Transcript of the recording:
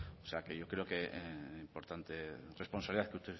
o sea que yo creo que es una importante responsabilidad la que